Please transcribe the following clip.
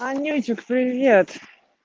анютик привет